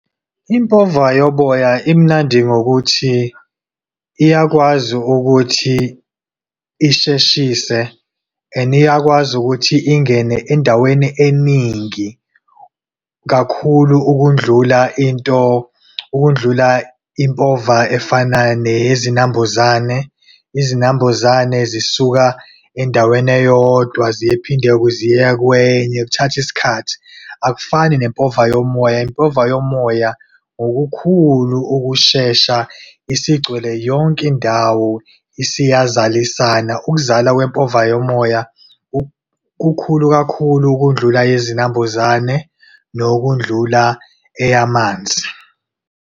Impova yoboya imnandi ngokuthi, iyakwazi ukuthi isheshise and iyakwazi ukuthi, ingene endaweni eningi kakhulu ukundlula into, ukundlula impova efana neyezinambuzane. Izinambuzane zisuka endaweni eyodwa ziphinde ziye kwenye, kuthatha isikhathi. Akufani nempova yomoya, impova yomoya ngokukhulu ukushesha isigcwele yonke indawo isiyazalisana. Ukuzala kwempova yomoya kukhulu kakhulu ukundlula eyezinambuzane nokundlula eyamanzi.